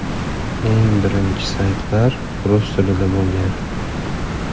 Eng birinchi saytlar rus tilida bo‘lgan.